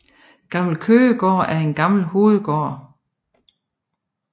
Gammel Køgegård er en gammel hovedgård